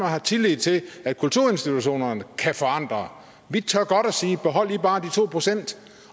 har tillid til at kulturinstitutionerne kan forandre vi tør godt sige behold i bare de to procent